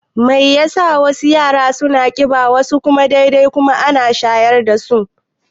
Mai yasa wasu yara suna ƙiba wasu kuma dai-dai kuma duka ana shayar dasu?